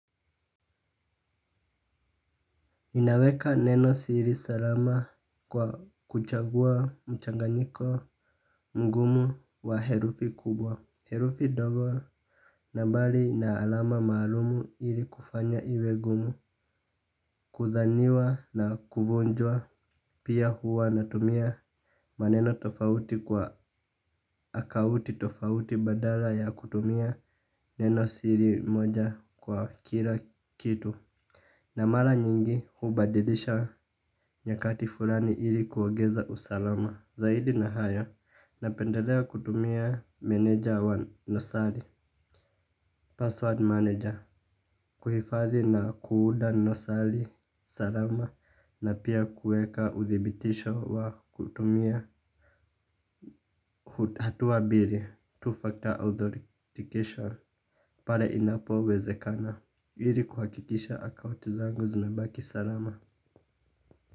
Inaweka neno siri salama kwa kuchagua mchanganyiko mgumu wa herufi kubwa herufi ndogo nambari na alama maalumu ili kufanya iwe ngumu kudhaniwa na kuvunjwa pia huwa natumia maneno tofauti kwa akaunti tofauti badala ya kutumia neno siri moja kwa kila kitu. Na mara nyingi hubadilisha nyakati fulani ili kuongeza usalama zaidi nahayo napendelea kutumia meneja wa nosali Password manager kuhifadhi na kuunda nosali salama. Na pia kueka udhibitisho wa kutumia hatuwa mbili two-factor authorification pale inapo wezekana. Ili kuhakikisha akaunti zangu zinabaki salama.